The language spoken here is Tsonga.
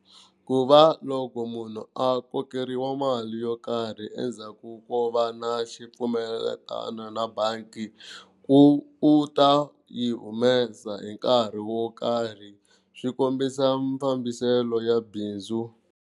Ku va loko munhu a kokeriwa mali yo karhi endzhaku ko va na xipfumelelano na na bangi, u ta yi humesa hi nkarhi wo karhi swi kombisa mafambiselo ya bindzu.